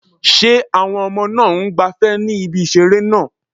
Ṣé àwọn ọmọ náà ń gbafẹ́ ní ibi ìseré náà?